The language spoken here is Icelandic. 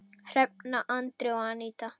Hrefna, Andri og Aníta.